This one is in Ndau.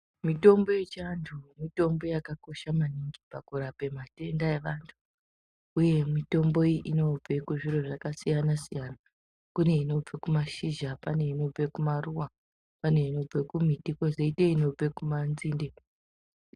Mitombo yechiantu mitombo yakakosha maningi pakurape matenda evantu uye mitombo iyi inobve kuzviro zvakasiyana -siyana. Kune inobve kumashizha pane inobve kumaruwa pane inobve kumiti kwozoite inobve kumanzinde.